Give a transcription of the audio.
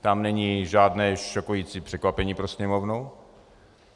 Tam není žádné šokující překvapení pro Sněmovnu.